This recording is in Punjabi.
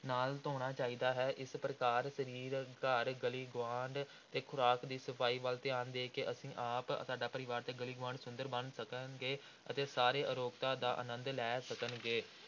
ਨਾਲ ਧੋਣਾ ਚਾਹੀਦਾ ਹੈ, ਇਸ ਪ੍ਰਕਾਰ ਸਰੀਰ, ਘਰ, ਗਲੀ ਗੁਆਂਢ ਤੇ ਖ਼ੁਰਾਕ ਦੀ ਸਫ਼ਾਈ ਵੱਲ ਧਿਆਨ ਦੇ ਕੇ ਅਸੀਂ ਆਪ, ਸਾਡਾ ਪਰਿਵਾਰ ਤੇ ਗਲੀ ਗੁਆਂਢ ਸੁੰਦਰ ਬਣ ਸਕੇਗਾ ਤੇ ਸਾਰੇ ਅਰੋਗਤਾ ਦਾ ਆਨੰਦ ਲੈ ਸਕਣਗੇ।